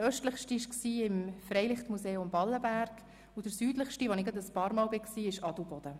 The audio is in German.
Der östlichste Ort war das Freilichtmuseum Ballenberg, und der südlichste, den ich ebenfalls ein paar Mal besuchte, war Adelboden.